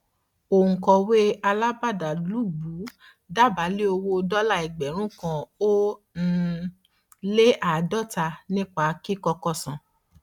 òǹkọwé alábàádàlúgbùú dá bá lé owó dọlà ẹgbẹrún kan ó um lé àádọta nípa kíkọkọ san